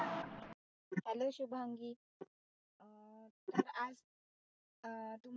hello Shubhangi अं आ अं